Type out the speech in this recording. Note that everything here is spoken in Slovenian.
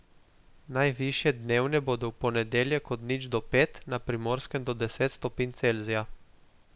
Najvišje dnevne bodo v ponedeljek od nič do pet, na Primorskem do deset stopinj Celzija.